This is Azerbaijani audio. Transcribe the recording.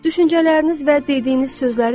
Düşüncələriniz və dediyiniz sözləri dinləyin.